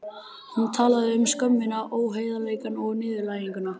Hún talaði um skömmina, óheiðarleikann og niðurlæginguna.